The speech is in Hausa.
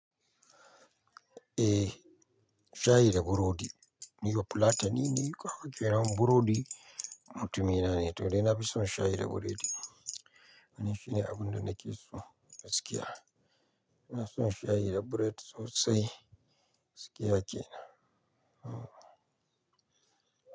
Eh, shayi da burodi. Ni bafulatani ne, kaga kenan burodi mutumina ne, to dai na fi son shayi da buredi. Wannan shine abun da nake so, gaskiya. Ina son shayi da buredi sosai, gaskiya kenan.